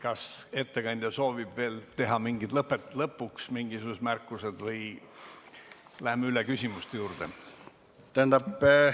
Kas ettekandja soovib veel teha lõpuks mingisugused märkused või läheme küsimuste juurde?